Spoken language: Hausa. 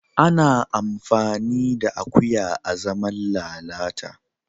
Ana iya amfani da akuya azaman lalata